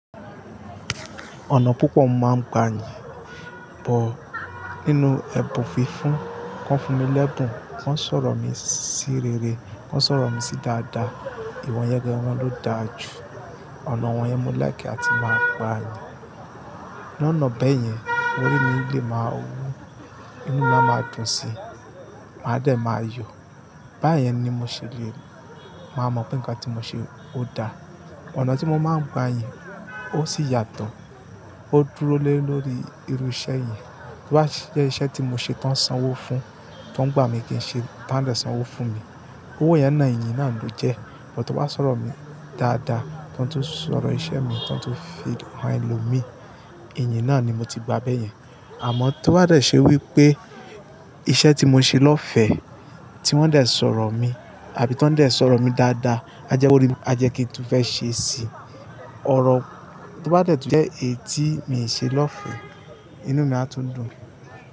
Ọ̀nà púpọ̀ máa ń gbani bọ̀ nínú ẹ̀bùn fífún. Kọ́n fún mi lẹ́bùn, kọ́n sọ̀rọ̀ mi sí rere, kọ́n sọ̀rọ̀ mi sí dáadáa. Ìwọ̀n yẹn gẹ́gẹ́ wọn ló da jù. Ọ̀nà wọ́n yẹn mo lẹ́kẹ̀ àti máa gbani. Lọ́nà bẹ́ẹ̀ yẹn, orí mi lè máa wú, inú mi á máa dùn síi, màá dẹ̀ máa yọ̀. Bá yẹn ni mo ṣe léèrè, màá mọ̀ pé nǹkan tí mo ṣe ó da. Ọ̀nà tí mo máa ń gbani ó sì yàtọ̀. Ó dúró lé lórí irú iṣẹ́ yẹn. Tí ó bá jẹ́ iṣẹ́ tí mo ṣe tán sanwó fún, tán gbà mí kì í ṣe tán sanwó fún mi. Owó yẹn náà, ẹ̀yìn náà ló jẹ́. Ṣùgbọ́n tí wọ́n bá sọ̀rọ̀ mi dáadáa, tí wọ́n tó ń sọ iṣẹ́ mi, tí wọ́n tó ń fi han ẹlòmíì, iyìn náà ni mo ti gba bẹ́ẹ̀ yẹn. Àmọ́ tí wọ́n bá dẹ̀ ṣe wí pé iṣẹ́ tí mo ṣe lọ́fẹ̀ẹ́ tí wọ́n dẹ̀ sọ̀rọ̀ mi àbí tí wọ́n dẹ̀ sọ̀rọ̀ mi dáadáa, a jẹ́ kí orí mi, a jẹ́ kí n fẹ́ ṣe sí i. Ọ̀rọ̀ tí wọ́n bá dẹ̀ tún jẹ́ èyí tí n ṣe lọ́fẹ̀ẹ́, inú mi á tún dùn.